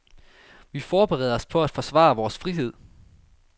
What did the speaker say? Vi forbereder os på at forsvare vores frihed.